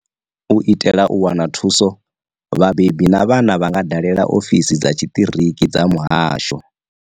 U itela u wana thuso, vhabebi na vhana vha nga dalela ofisi dza tshiṱiriki dza muhasho.